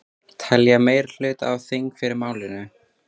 Telja meirihluta á þingi fyrir málinu